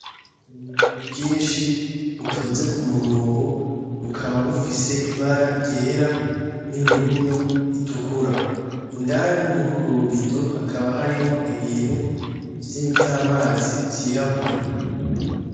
Ububido bwinshi butonze ku murongo bukaba bufise ibara ryera n'imirumyo itukura, indani murubwo bubido hakaba harimwo ibintu vy'amazi vyirabura.